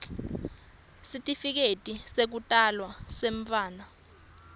sitifiketi sekutalwa semntfwana